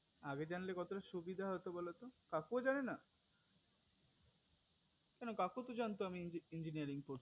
আগে জানলে কতটা সুবিধা হতো বোলো তো কাকু ও জানে না কেন কাকু তো জানতো যে আমি engineering করি